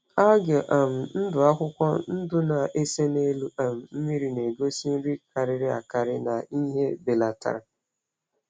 Algae um ndụ akwụkwọ ndụ na-ese n’elu um mmiri na-egosi nri karịrị akarị na ìhè belatara.